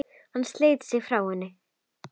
Hann sleit sig frá henni.